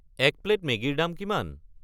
এক প্লে’ট মেগীৰ দাম কিমান?